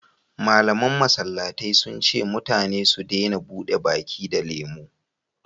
malaman masallatai sun ce mutane su dena buɗe baki da lemo